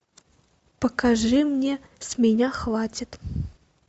покажи мне с меня хватит